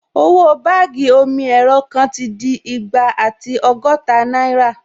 Owó báàgì omi-ẹ̀rọ kan ti di igba àti ọgọ́ta náírà